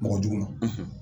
Mɔgɔ jugu ma